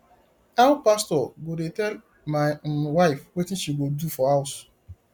how pastor go dey tell my um wife wetin she go do for house